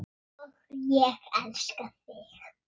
Og ég elska þig!